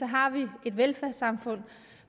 har vi et velfærdssamfund